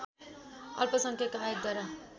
अल्पसंख्यक आयोगद्वारा